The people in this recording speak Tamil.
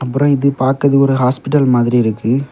அப்புரம் இது பாக்ரதுகு ஒரு ஹாஸ்பிடல் மாதிரி இருக்கு.